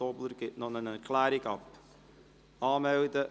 Tobler gibt eine Erklärung ab.